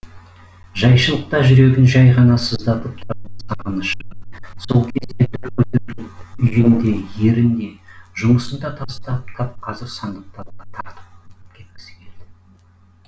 жайшылықта жүрегін жәй ғана сыздатып тұратын сағынышы сол кезде дүр көтеріліп үйін де ерін де жұмысын да тастап тап қазір сандықтауға тартып кеткісі келді